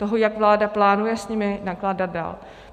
Toho, jak vláda plánuje s nimi nakládat dál.